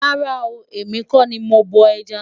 rárá o, èmi kò ní mọ bó ẹja